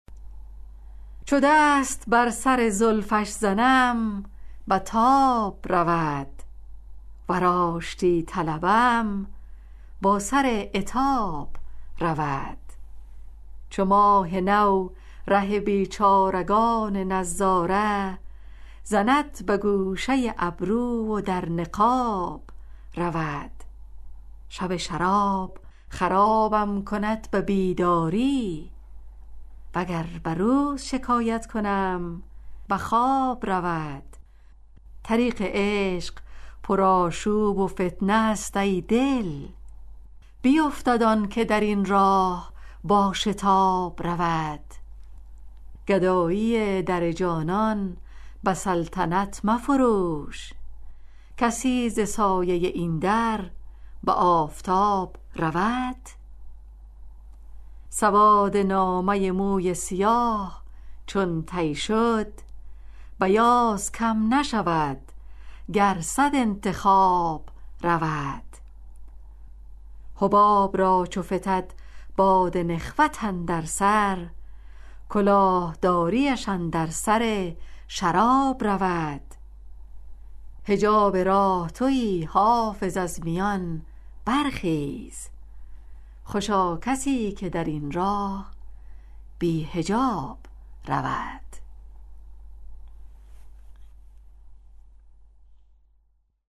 چو دست بر سر زلفش زنم به تاب رود ور آشتی طلبم با سر عتاب رود چو ماه نو ره بیچارگان نظاره زند به گوشه ابرو و در نقاب رود شب شراب خرابم کند به بیداری وگر به روز شکایت کنم به خواب رود طریق عشق پرآشوب و فتنه است ای دل بیفتد آن که در این راه با شتاب رود گدایی در جانان به سلطنت مفروش کسی ز سایه این در به آفتاب رود سواد نامه موی سیاه چون طی شد بیاض کم نشود گر صد انتخاب رود حباب را چو فتد باد نخوت اندر سر کلاه داریش اندر سر شراب رود حجاب راه تویی حافظ از میان برخیز خوشا کسی که در این راه بی حجاب رود